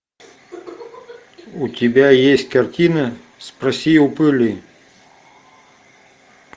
у тебя есть картина спроси у пыли